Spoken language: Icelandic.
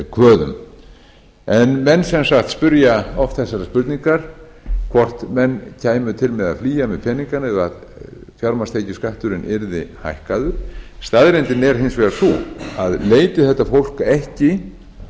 kröfum menn sem sagt spyrja oft þessarar spurningar hvort menn kæmu til með að flýja með peningana ef fjármagnstekjuskatturinn yrði hækkaður staðreyndin er hins vegar að leiti þetta fólk ekki